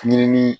Ɲinini